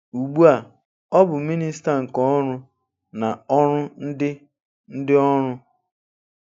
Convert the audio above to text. Ugbu a, ọ bụ Minista nke Ọrụ na Ọrụ Ndị Ndị Ọrụ.